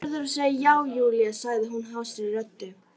Þú verður að segja já, Júlía sagði hún hásri röddu.